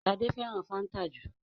Shade féràn fanta jù.